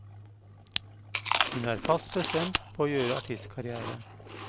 Hun er fast bestemt på å gjøre artistkarrière.